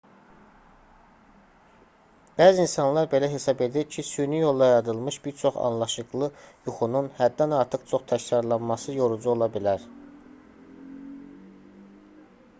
bəzi insanlar belə hesab edir ki süni yolla yaradılmış bir çox anlaşıqlı yuxunun həddən artıq çox təkrarlanması yorucu ola bilər